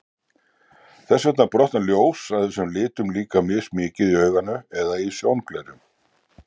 Þess vegna brotnar ljós af þessum litum líka mismikið í auganu eða í sjónglerjum.